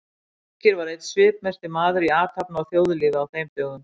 Birgir var einn svipmesti maður í athafna- og þjóðlífi á þeim dögum.